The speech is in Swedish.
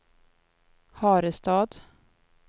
Harestad